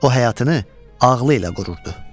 O həyatını ağlı ilə qururdu.